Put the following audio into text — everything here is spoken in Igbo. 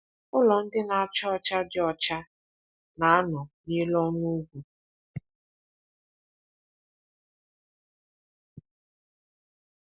Ụlọ ndị na-acha ọcha dị ọcha na-anọ n’elu ọnụ ugwu.